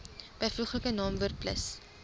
byvoeglike naamwoord plus